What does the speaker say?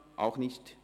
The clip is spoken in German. – Auch nicht.